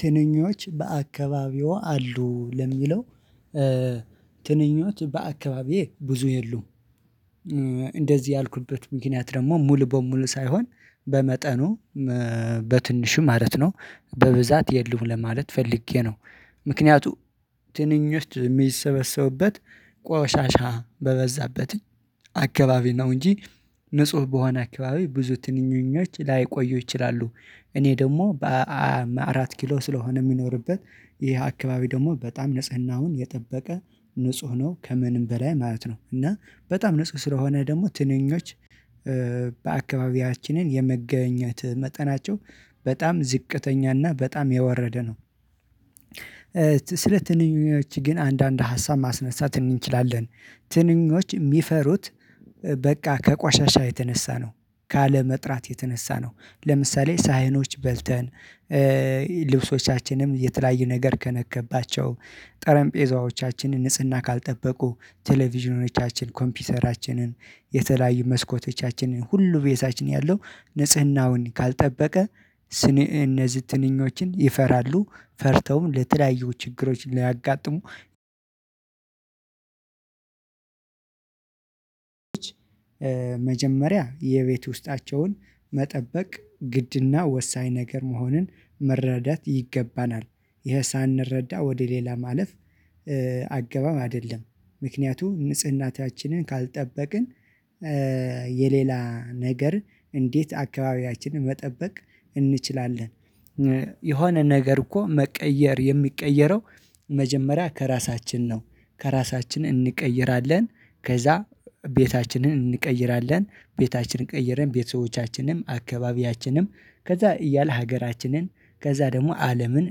ትንኞች በአካባቢው አሉ ለሚለው ትንኞች በአካባቢዬ ብዙ የሉም። እንደዚህ ያልኩበት ምክንያት ደግሞ ሙሉ በሙሉ ሳይሆን በመጠኑ በትንሹ ማለት ነው በብዛት የለም ለማለት ፈልጌ ነው። ምክንያቱ ትንኞች የሚሰበሰቡበት ቆሻሻ በበዛበት አካባቢ ነው እንጂ ንጹህ በሆነ አካባቢ ብዙ ትንንኞች ላይቆዩ ይችላሉ። እኔ ደግሞ በአራት ኪሎ ስለሆነ የምኖርበት ይሄ አካባቢ ደግሞ በጣም ንጽህናውን የጠበቀ ንጹህ ነው። ከምንም በላይ ማለት ነው እና በጣም ንጹህ ስለሆነ ደግሞ ትንኞች በአካባቢያችንን የመገኘት መጠናቸው በጣም ዝቅተኛና በጣም የወረደ ነው። ስለ ትንኞች ግን አንዳንድ ሀሳብ ማስነሳት እንችላለን። ትንኞች የሚፈሩት በቃ ከቋሻሻ የተነሳ ነው። ካለመጥራት የተነሳ ነው ለምሳሌ ሳይኖች በልተን ልብሶቻችንም የተለያዩ ነገር ከነከባቸው ጠረጴዛዎቻችንን ንጽህና ካልጠበቁ ቴሌቪዥኖቻችን ኮምፒውተራችንን የተለያዩ መስኮቶቻችንን ሁሉ ቤታችን ያለው ንጽህናውን ካልጠበቀ ስነ እነዚህ ትንኞችን ይፈራሉ። ፈርተውም ለተለያዩ ችግሮች ሊያጋጥሙ መጀመሪያ የቤት ውስጣቸውን መጠበቅ ግድና ወሳኝ ነገር መሆንን መረዳት ይገባናል። ይሄ ሳንረዳ ወደ ሌላ ማለፍ አገባብ አይደለም። ምክንያቱም ንጽህናታችንን ካልጠበቅን የሌላ ነገር እንዴት አካባቢያችንን መጠበቅ እንችላለን? የሆነ ነገር እኮ መቀየር የሚቀየረው መጀመሪያ ከራሳችን ነው። ከራሳችን እንቀይራለን። ከዛ ቤታችንን እንቀይራለን ቤታችንን ቀይረን ቤተሰቦቻችንም አካባቢያችንም ከዛ እያለ ሀገራችንን ከዛ ደግሞ አለምን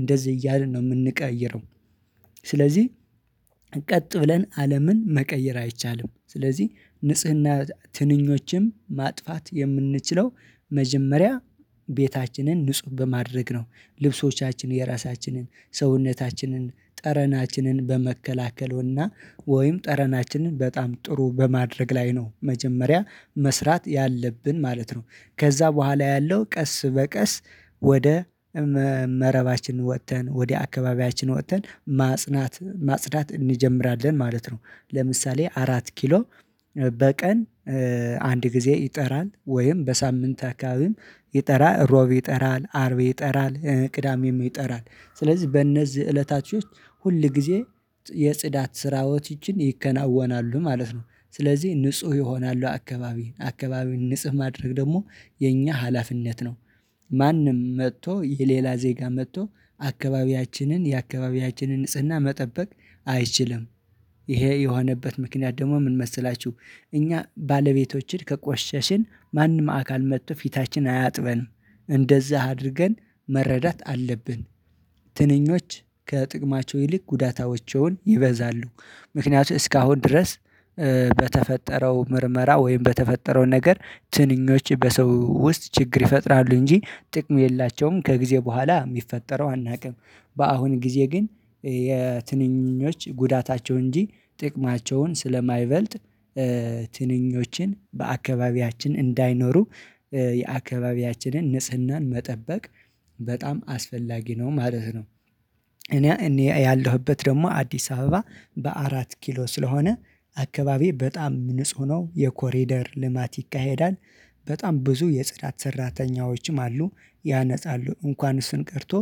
እንደዚህ እያልን ነው የምንቀይረው። ስለዚህ ቀጥ ብለን አለምን መቀየር አይቻልም። ስለዚህ ንጽህና ትንኞችም ማጥፋት የምንችለው መጀመሪያ ቤታችንን ንጹህ በማድረግ ነው። ልብሶቻችን የራሳችንን ሰውነታችንን ጠረናችንን በመከላከልና ወይም ጠረናችንን በጣም ጥሩ በማድረግ ላይ ነው መጀመሪያ መስራት ያለብን ማለት ነው። ከዛ በኋላ ያለው ቀስ በቀስ ወደ መረባችን ወጥተን ወደ አካባቢያችን ወጥተን ማጽዳት ማዳናት እንጀምራለን ማለት ነው። ለምሳሌ አራት ኪሎ በቀን አንድ ጊዜ ይጠራል ወይም በሳምንት አካባቢም ይጠራ ሮብ ይጠራል አርብ ይጠራል ቅዳሜም ይጠራል ስለዚህ በእነዚህ እለታቸው ሁል ጊዜ የጽዳት ስራዎች ይቺን ይከናወናሉ ማለት ነው። ስለዚህ ንጹህ ይሆናሉ አካባቢ አካባቢ ንጹህ ማድረግ ደግሞ የኛ ሀላፊነት ነው። ማንም መጥቶ የሌላ ዜጋ መጥቶ አካባቢያችንን የአካባቢያችንን ንጽህና መጠበቅ አይችልም። ይሄ የሆነበት ምክንያት ደግሞ ምን መሰላችሁ? እኛ ባለቤቶችን ከቆሸሽን ማንም አካል መጥቶ ፊታችንን አያጥበንም እንደዛ አድርገን መረዳት አለብን። ትንኞች ከጥቅማቸው ይልቅ ጉዳቶቻቸው ይበዛሉ። ምክንያቱም እስካሁን ድረስ በተፈጠረው ምርመራ ወይም በተፈጠረው ነገር ትንኞች በሰው ውስጥ ችግር ይፈጥራሉ እንጂ ጥቅም የላቸውም ከጊዜ በኋላ የሚፈጠረው አናውቅም። በአሁን ጊዜ ግን የትንኞች ጉዳታቸው እንጂ ጥቅማቸውን ስለማይበልጥ ትንኞችን በአካባቢያችን እንዳይኖሩ የአካባቢያችንን ንጽህናን መጠበቅ በጣም አስፈላጊ ነው ማለት ነው። እኔ እኔ ያለሁበት ደግሞ አዲስ አበባ በአራት ኪሎ ስለሆነ አካባቢ በጣም ንጹህ ነው የኮሬደር ልማት ይካሄዳል። በጣም ብዙ የጽዳት ሰራተኞችም አሉ። ያነጻሉ እንኳን እሱን ቀርቶ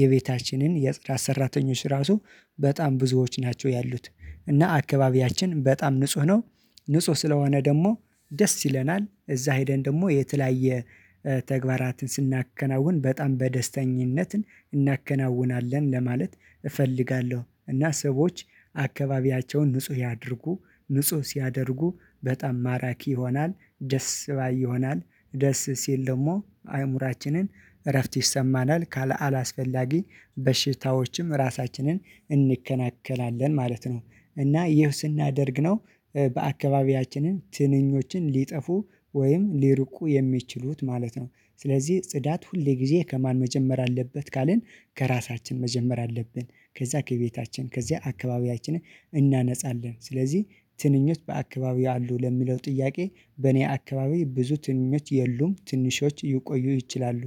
የቤታችንን የጽዳት ሰራተኞች ራሱ በጣም ብዙዎች ናቸው ያሉት እና አካባቢያችን በጣም ንጹህ ነው። ንጹህ ስለሆነ ደግሞ ደስ ይለናል እዛ ሄደን ደግሞ የተለያየ ተግባራትን ስናከናውን በጣም በደስተኝነት እናከናውናለን ለማለት እፈልጋለሁ። እና ሰዎች አካባቢያቸውን ንጹህ ያድርጉ ንጹህ ሲያደርጉ በጣም ማራኪ ይሆናል። ደስ ባይ ይሆናል። ደስ ሲል ደግሞ አእምሮአችንን እረፍት ይሰማናል ካለ አላስፈላጊ በሽታዎችም ራሳችንን እንከላከላለን ማለት ነው። እና ይሄው ስናደርግ ነው በአካባቢያችንን ትንኞችን ሊጠፉ ወይም ሊርቁ የሚችሉት ማለት ነው። ስለዚህ ጽዳት ሁሌ ጊዜ ከማን መጀመር አለበት ካልን ከራሳችን መጀመር አለብን። ከዛ ከቤታችን ከዛ አካባቢያችንን እናነጻለን። ስለዚህ ትንኞት በአካባቢው አሉ ለሚለው ጥያቄ በእኔ አካባቢ ብዙ ትንኞች የሉም ትንሾች ይቆዩ ይችላሉ።